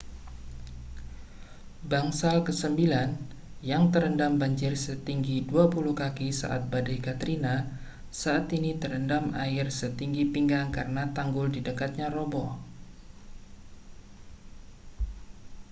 bangsal kesembilan yang terendam banjir setinggi 20 kaki saat badai katrina saat ini terendam air setinggi pinggang karena tanggul di dekatnya roboh